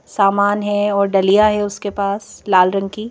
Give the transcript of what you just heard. सामान है और दलिया है उसके पास लाल रंग की--